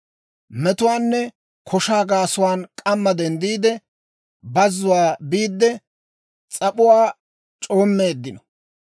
Metuwaanne koshaa gaasuwaan k'amma denddiide, bazzuwaa biidde, s'ap'uwaa c'oommeeddino.